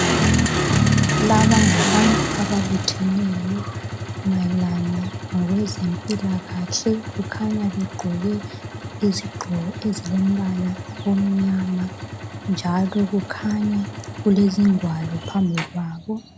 laba ngabantu ababutheneyo mayelana ngokwezempilakahle kukhanya begqoke izigqoko ezilembala omnyama njalo kukhanya kulezingwalo phambi kwabo